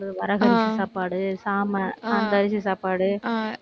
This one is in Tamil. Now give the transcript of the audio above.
வரகரிசி சாப்பாடு, சாமை, அந்த அரிசி சாப்பாடு